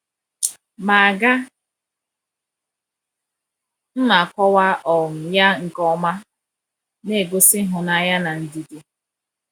Ma aga m akọwa um ya nke ọma, na-egosi ịhụnanya na ndidi.